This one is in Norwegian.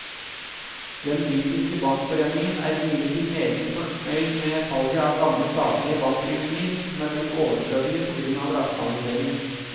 Den britiske bankforeningen er imidlertid meget fornøyd med salget av gamle staselige bankbygninger som er blitt overflødige på grunn av rasjonalisering.